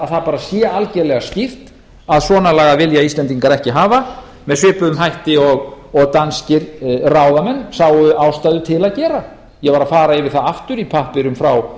það bara sé algerlega skýrt að svona lagað vilja íslendingar ekki hafa með svipuðum hætti og danskir ráðamenn sáu ástæðu til að gera ég var að fara yfir það aftur í pappírum frá